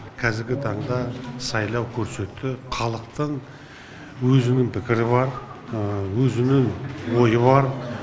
қазіргі таңда сайлау көрсетті халықтың өзінің пікірі бар өзінің ойы бар